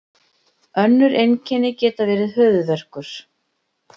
önnur einkenni geta verið höfuðverkur